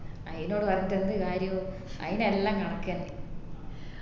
ആയിനോട് പറഞ്ഞിട്ട് എന്ത് കാരിയോ അയിന് എല്ലാം കണക്കെന്നെ